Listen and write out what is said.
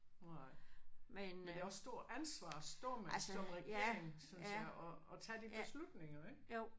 Nej men det er også stor ansvar at stå med som regering synes jeg og og tage de beslutninger ik